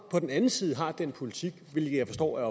på den anden side har den politik hvilket jeg forstår er